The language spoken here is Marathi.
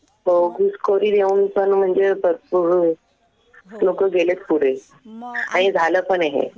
हो. घुसखोरी देऊन पण म्हणजे आता सुरु आहे लोकं गेलेत पुढे. आणि झालं पण आहे हे.